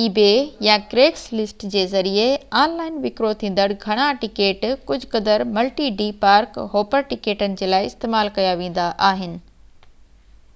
ebay يا craigslist جي ذريعي آن لائن وڪرو ٿيندڙ گهڻا ٽڪيٽ ڪجهہ قدر ملٽي-ڊي پارڪ-هوپر ٽڪيٽن جي لاءِ استعمال ڪيا ويندا آهن